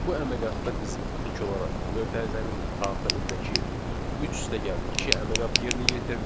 Bu əməliyyatda bizim ilk olaraq mötərizənin daxilindəki 3+2 əməliyyatı yerinə yetirilir